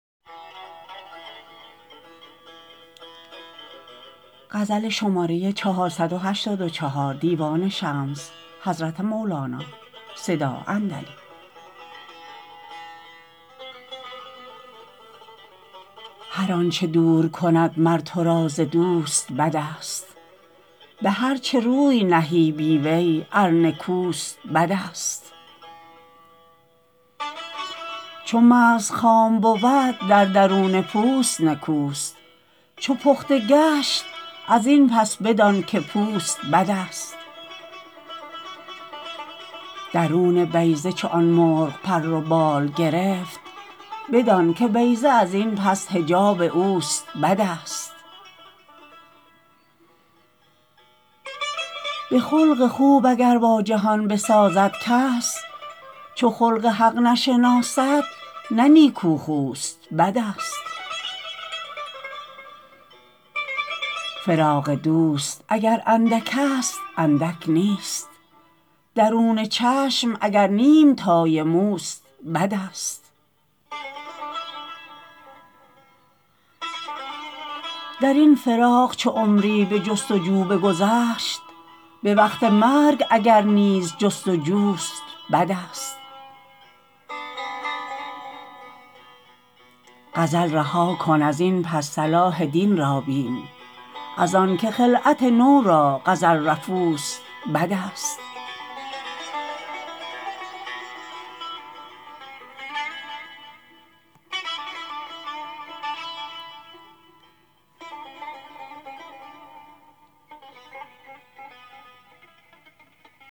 هر آنچ دور کند مر تو را ز دوست بدست به هر چه روی نهی بی وی ار نکوست بدست چو مغز خام بود در درون پوست نکوست چو پخته گشت از این پس بدانک پوست بدست درون بیضه چو آن مرغ پر و بال گرفت بدانک بیضه از این پس حجاب اوست بدست به خلق خوب اگر با جهان بسازد کس چو خلق حق نشناسد نه نیک خوست بدست فراق دوست اگر اندک ست اندک نیست درون چشم اگر نیم تای موست بدست در این فراق چو عمری به جست و جو بگذشت به وقت مرگ اگر نیز جست و جوست بدست غزل رها کن از این پس صلاح دین را بین از آنک خلعت نو را غزل رفوست بدست